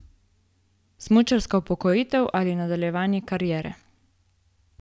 Smučarska upokojitev ali nadaljevanje kariere?